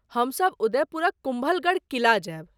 हमसभ उदयपुरक कुम्भलगढ़ किला जायब।